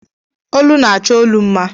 Olu na-achọ olu mma.